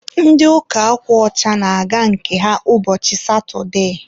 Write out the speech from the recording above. ndị ụka akwa ọcha na-aga nke ha ụbọchị satụde